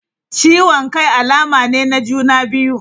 Ciwon Kai alama ne na juna biyu..